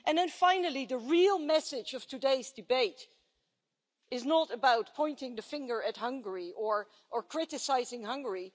And then, finally, the real message of today's debate is not about pointing the finger at Hungary or criticising Hungary.